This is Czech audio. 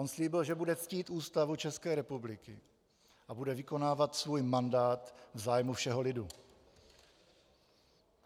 On slíbil, že bude ctít Ústavu České republiky a bude vykonávat svůj mandát v zájmu všeho lidu.